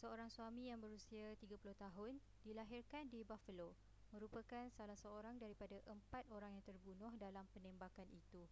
seorang suami yang berusia 30 tahun dilahirkan di buffalo merupakan salah seorang daripada empat orang yang terbunuh dalam penembakan itu